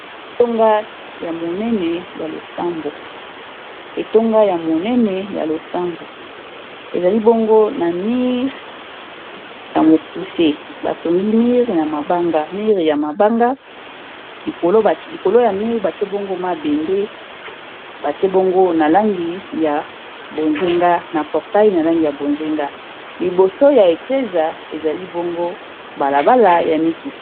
Ndako ya monene ya losambo ezali bongo na mur ya mokuse batongi murvya mabanga mur ya mabanga likolo ya mur batie bongo mabende batie bongo na langi ya bonzenga na portaille ya langi ya bonzenga liboso ya Eglise ezali bongo balabala ya mituka